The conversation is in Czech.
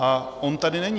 A on tady není.